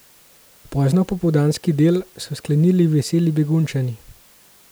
Poznopopoldanski del so sklenili Veseli Begunjčani.